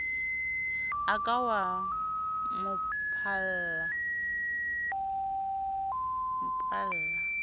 o ka wa mo palla